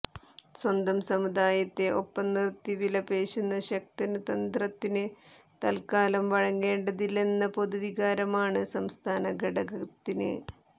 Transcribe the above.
സ്വന്തം സമുദായത്തെ ഒപ്പംനിര്ത്തി വിലപേശുന്ന ശക്തന് തന്ത്രത്തിന് തത്ക്കാലം വഴങ്ങേണ്ടതില്ലെന്ന പൊതുവികാരമാണ് സംസ്ഥാന ഘടകത്തിന്